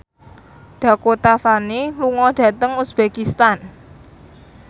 Dakota Fanning lunga dhateng uzbekistan